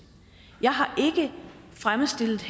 jeg har ikke fremstillet